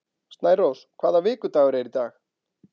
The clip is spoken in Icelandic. Snærós, hvaða vikudagur er í dag?